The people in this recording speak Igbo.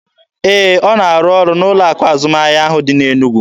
Ee, ọ na arụ ọrụ n'ụlọ akụ azụmahịa ahụ dị n'Enugwu.